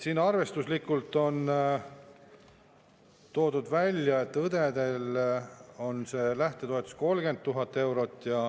Siin on arvestuslikult välja toodud, et õdedel on see lähtetoetus 30 000 eurot.